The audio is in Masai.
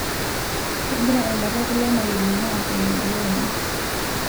Kegira embata e kulo malimuni aatonie looni